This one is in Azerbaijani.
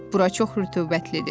Bura çox rütubətlidir.